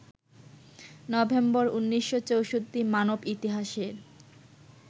November ১৯৬৪- মানব ইতিহাসের